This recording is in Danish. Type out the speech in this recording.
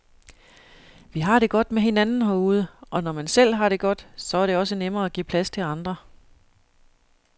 Vi har det godt med hinanden herude, og når man selv har det godt, så er det også nemmere at give plads til andre.